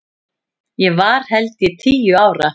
Ég var held ég tíu ára.